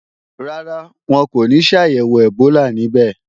Rárá, wọn kò ní ṣàyẹ̀wò ẹ̀bólà níbẹ̀